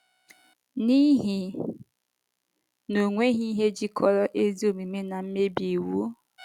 “ N’ihi na onweghi ihe jikọrọ ezi omume na mmebi iwu?